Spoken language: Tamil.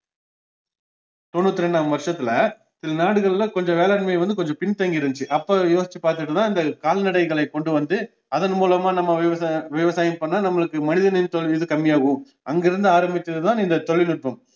தொண்ணூத்தி இரண்டாம் வருஷத்துல சில நாடுகளில கொஞ்சம் வேளாண்மை வந்து கொஞ்சம் பின் தங்கி இருந்துச்சு அப்போ யோசிச்சு பாத்துகுட்டுதான் இந்த கால்நடைகளைக் கொண்டுவந்து அதன் மூலமா நம்ம விவசாய~ விவசாயம் பண்ணா நம்மளுக்கு கம்மியாகும் அங்கிருந்து ஆரம்பிச்சதுதான் இந்த தொழில்நுட்பம்